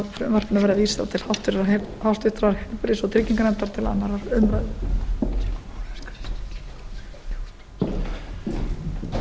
þess ég leyfi mér því að leggja til að frumvarpinu verði vísað til heilbrigðis og trygginganefndar og til annarrar umræðu